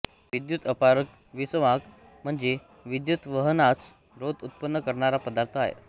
विद्युत अपारक विसंवाहक म्हणजे विद्युतवहनास रोध उत्पन्न करणारा पदार्थ आहे